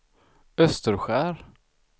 Österskär